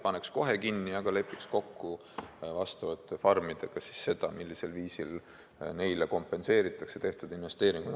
Paneks farmid kohe kinni, aga lepiks kokku, millisel viisil neile kompenseeritakse tehtud investeeringud.